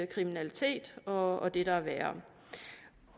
kriminalitet og det der er værre